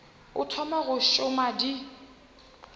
o thoma go šoma di